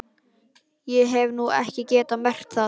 Ég hef nú ekki getað merkt það.